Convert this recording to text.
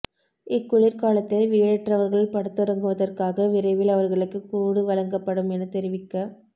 இக்குளிர் காலத்தில் வீடற்றவர்கள் படுத்துறங்குவதற்காக விரைவில் அவர்களுக்கு கூடு வழங்கப்படும் என தெரிவிக்க